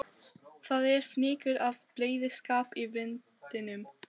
Það er fnykur af bleyðiskap í vindinum.